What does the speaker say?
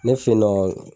Ne fe yen nɔ